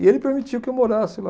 E ele permitiu que eu morasse lá.